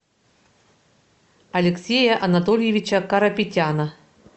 алексея анатольевича карапетяна